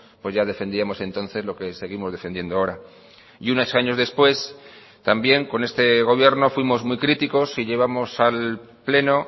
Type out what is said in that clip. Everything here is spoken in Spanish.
pues ya defendíamos entonces lo que seguimos defendiendo ahora y unos años después también con este gobierno fuimos muy críticos y llevamos al pleno